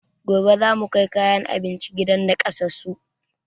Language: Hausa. Gobe zamu kai kayan abinci gidan nakasassun